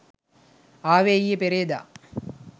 ආවේ ඊයේ පෙරේදා.